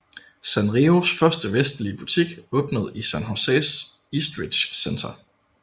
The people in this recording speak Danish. Sanrios første vestlige butik åbnede i San Joses Eastridge Center